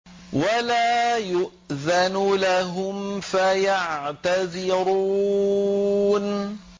وَلَا يُؤْذَنُ لَهُمْ فَيَعْتَذِرُونَ